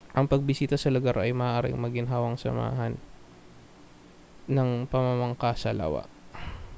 ang pagbisita sa lugar ay maaaring maginhawang samahan ng pamamangka sa lawa